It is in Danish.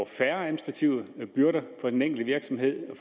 færre administrative byrder for den enkelte virksomhed